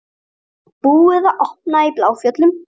Búið að opna í Bláfjöllum